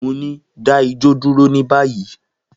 Mo ni, da ijó duro ni bayi!